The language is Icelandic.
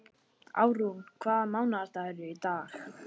Árún, hvaða mánaðardagur er í dag?